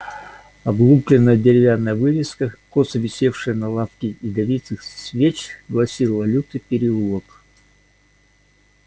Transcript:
облупленная деревянная вывеска косо висевшая на лавке ядовитых свеч гласила лютый переулок